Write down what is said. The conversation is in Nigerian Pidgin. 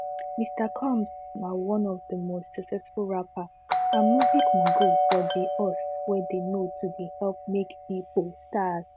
mr combsna one of di most successful rappers and music moguls for di us wey dey known to dey help make pipo stars